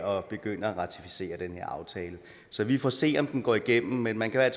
at begynde at ratificere den her aftale så vi får se om den går igennem men man kan